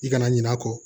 I kana ɲina a kɔ